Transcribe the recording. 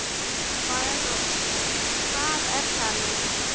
Hvað er það nú?